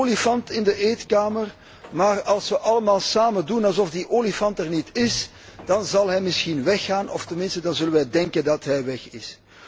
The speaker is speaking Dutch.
Er staat een olifant in de eetkamer, maar als we allemaal samen doen alsof die olifant er niet is, dan zal hij misschien weggaan, of tenminste dan zullen we denken dat hij weg is.